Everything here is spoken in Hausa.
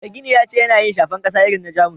Mai gini ya ce yana yin shafen kasa irin na jamus